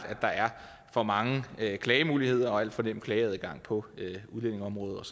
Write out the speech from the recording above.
er for mange klagemuligheder og alt for nem klageadgang på udlændingeområdet og